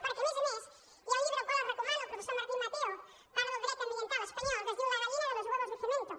perquè a més a més hi ha un llibre el qual els recomano del professor martín mateo parla del dret ambiental espanyol que es diu la gallina de los huevos de cemento